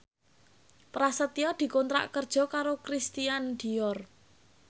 Prasetyo dikontrak kerja karo Christian Dior